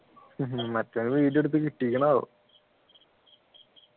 മറ്റെയാള് video എടുത്ത് കിട്ടിക്കണോ ആവോ